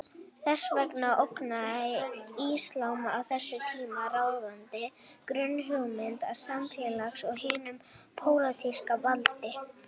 Þess vegna ógnaði íslam á þessum tíma ráðandi grunnhugmyndum samfélagsins og hinu pólitíska valdi.